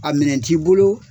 A minɛn t'i bolo